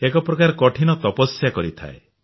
ଏକ ପ୍ରକାର କଠିନ ତପସ୍ୟା କରିଥାଏ